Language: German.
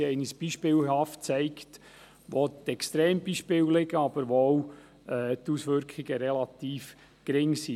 Sie haben uns beispielhaft aufgezeigt, wo die Extrembeispiele liegen, aber auch, wo die Auswirkungen relativ gering sind.